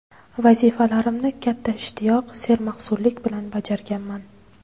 Vazifalarimni katta ishtiyoq, sermahsullik bilan bajarganman.